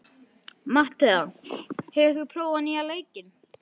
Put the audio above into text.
Mattea, hefur þú prófað nýja leikinn?